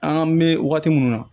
An ka me wagati mun na